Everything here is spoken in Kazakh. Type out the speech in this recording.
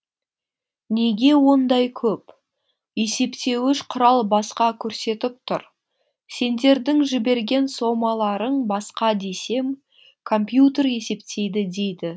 неге ондай көп есептеуіш құрал басқа көрсетіп тұр сендердің жіберген сомаларың басқа десем компьютер есептейді дейді